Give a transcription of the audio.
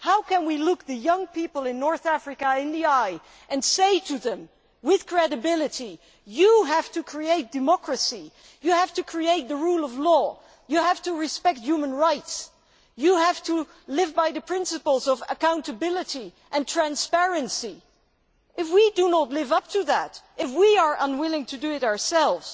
How can we look the young people in North Africa in the eye and say to them with credibility you have to create democracy and the rule of law, respect human rights and live by the principles of accountability and transparency, if we do not live up to that and are unwilling to do it ourselves?